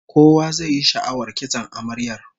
Kowa zai yi sha'awar kitson amaryar